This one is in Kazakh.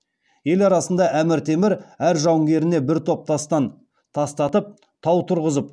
ел арасында әмір темір әр жауынгеріне бір бір тастан тастатып тау тұрғызып